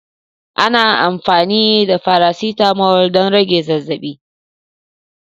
Ana amfani da faracetamol don rage zazzabi.